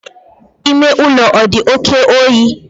Ime ụlọ ọ dị oke oyi?